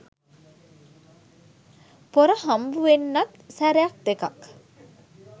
පොර හම්බ වෙන්නත් සැරයක් දෙකක්